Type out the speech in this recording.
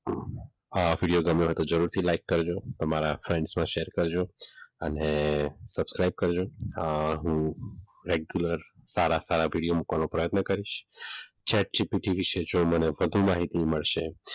આ વિડીયો ગમ્યો હોય તો જરૂરથી લાઇક કરજો તમારા આખા ગ્રુપમાં શેર કરજો અને સબસ્ક્રાઇબ કરજો અને હું રેગ્યુલર સારા સારા વિડીયો મુકવાનો પ્રયત્ન કરીશ એસજીપીટી વિશે જો મને વધુ માહિતી મળશે,